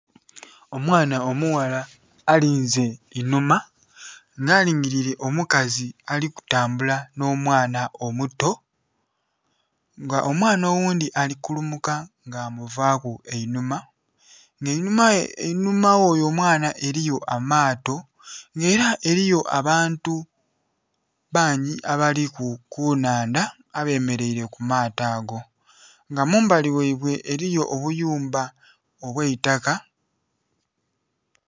Omwaana omughala alinze inhuma nga alingilile omukazi ali kutambula nho mwaana omuto nga omwaana oghundhi ali kulumuka nga amuvaku einhuma nga einhuma ghoyo omwaana eriyo amato nga era eriyo abantu bangi abali ku nhandha abemereire ku maato ago, nga mumbali ghaibwe eriyo obuyumba obwe itaka.